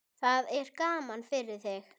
Það er gaman fyrir þig.